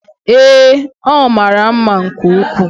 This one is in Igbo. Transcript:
Ee, ọ mara mma nke ukwuu.